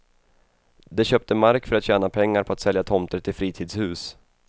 De köpte markför att tjäna pengar på att sälja tomter till fritidshus.